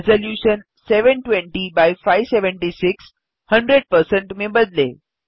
resolution 720 एक्स576 100 में बदलें